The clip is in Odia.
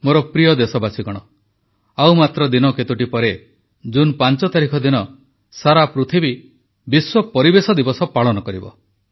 ମୋର ପ୍ରିୟ ଦେଶବାସୀଗଣ ଆଉ ଦିନ କେତୋଟି ପରେ ଜୁନ 5 ତାରିଖ ଦିନ ସାରା ପୃଥିବୀ ବିଶ୍ୱ ପରିବେଶ ଦିବସ ପାଳନ କରିବ